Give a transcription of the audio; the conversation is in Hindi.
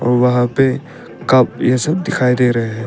और वहां पे कप ये सब दिखाई दे रहे हैं।